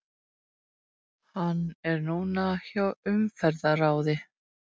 Hann er núna hjá Umferðarráði.